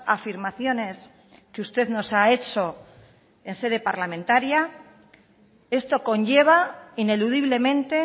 afirmaciones que usted nos ha hecho en sede parlamentaria esto conlleva ineludiblemente